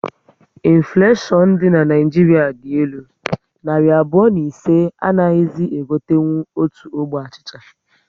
Infuleshion dị na Naịjiria dị elu, narị abụọ na ise anaghizi e gotenkwu otu ogbe achịcha